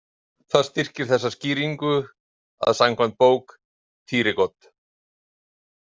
Það styrkir þessa skýringu að samkvæmt bók Thyregod.